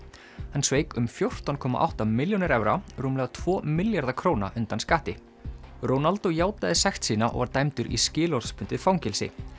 hann sveik um fjórtán komma átta milljónir evra rúmlega tvo milljarða króna undan skatti Ronaldo játaði sekt sína og var dæmdur í skilorðsbundið fangelsi